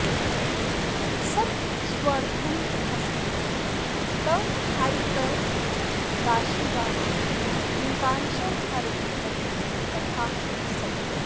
सत्स्वर्धं ह्रसति तथाइकराशिगानाम् एकांशं हरति बली तथाह सत्यः